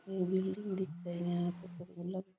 एक बिल्डिंग दिखे यहाँ पे कोई बल्ब --